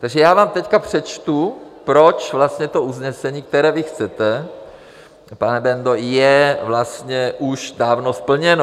Takže já vám teď přečtu, proč vlastně to usnesení, které vy chcete, pane Bendo, je vlastně už dávno splněno.